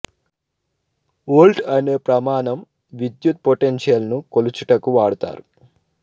volt అనే ప్రమాణం విద్యుత్ పొటెన్షియల్ ను కొలుచుటకు వాడుతారు